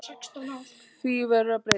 Því verður að breyta.